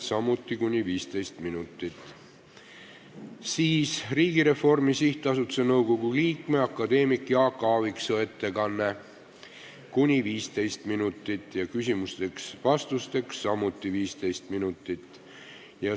Siis on Riigireformi SA nõukogu liikme akadeemik Jaak Aaviksoo ettekanne , küsimusteks ja vastusteks on aega samuti kuni 15 minutit.